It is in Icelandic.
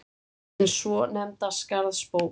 hin svonefnda Skarðsbók.